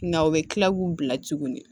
Nka o bɛ kila k'u bila tuguni